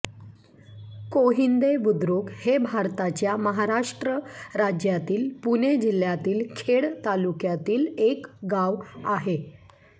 कोहिंदे बुद्रुक हे भारताच्या महाराष्ट्र राज्यातील पुणे जिल्ह्यातील खेड तालुक्यातील एक गाव आहे